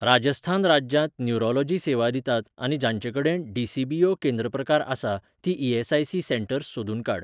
राजस्थान राज्यांत न्युरोलॉजी सेवा दितात आनी जांचेकडेन डी.सी.बी.ओ. केंद्र प्रकार आसा तीं ई.एस.आय.सी सेंटर्स सोदून काड.